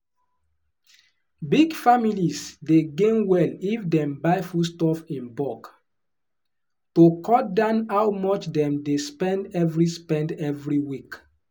big families dey gain well if dem buy foodstuff in bulk to cut down how much dem dey spend every spend every week.